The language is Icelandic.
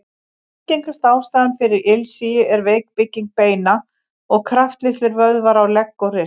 Algengasta ástæðan fyrir ilsigi er veik bygging beina og kraftlitlir vöðvar á legg og rist.